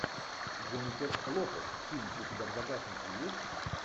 дженнифер лопес фильм у тебя в загашнике есть